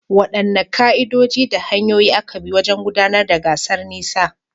Waɗanne ka’idoji da hanyoyin aka bi wajen gudanar da gasar tseren nisa?